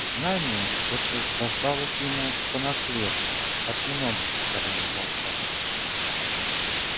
знание это досталось ему по наследству от многих поколений волков